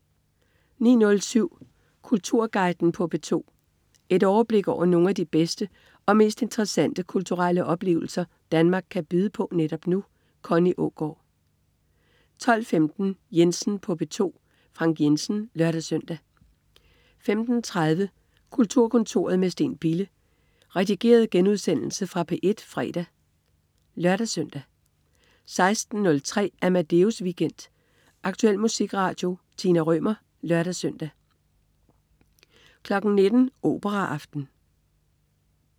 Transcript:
09.07 Kulturguiden på P2. Et overblik over nogle af de bedste og mest interessante kulturelle oplevelser Danmark kan byde på netop nu. Connie Aagaard 12.15 Jensen på P2. Frank Jensen (lør-søn) 15.30 Kulturkontoret med Steen Bille. Redigeret genudsendelse fra P1 fredag (lør-søn) 16.03 Amadeus Weekend. Aktuel musikradio. Tina Rømer (lør-søn) 19.00 Operaaften